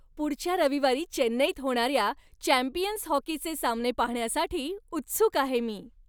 पुढच्या रविवारी चेन्नईत होणाऱ्या चॅम्पियन्स हॉकीचे सामने पाहण्यासाठी उत्सुक आहे मी.